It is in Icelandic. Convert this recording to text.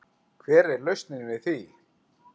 Hver er lausnin við því?